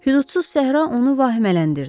Hüdudsuz səhra onu vahimələndirdi.